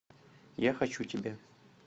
я хочу тебя